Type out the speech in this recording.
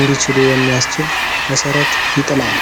እንዲችሉ የሚያስችል መሰረት ይጥላል።